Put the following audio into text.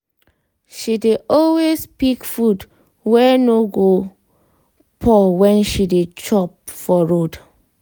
she dey always pick food wey no go pour when she dey chop for road.